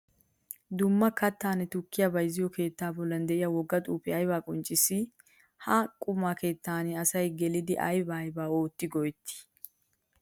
Dumma kattanne tukkiya bayzziyo keetta bollan de'iya wogga xuufe aybba qonccissi? Ha qumma keettan asay geliddi aybba aybba ootti go'etti?